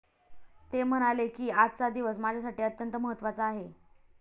ते म्हणाले की, आजचा दिवस माझ्यासाठी अत्यंत महत्वाचा आहे.